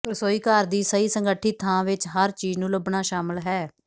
ਰਸੋਈਘਰ ਦੀ ਸਹੀ ਸੰਗਠਿਤ ਥਾਂ ਵਿੱਚ ਹਰ ਚੀਜ ਨੂੰ ਲੱਭਣਾ ਸ਼ਾਮਲ ਹੈ